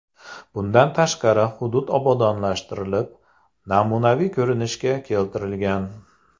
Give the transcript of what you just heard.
Bundan tashqari hudud obodonlashtirilib, namunaviy ko‘rinishga keltirilgan.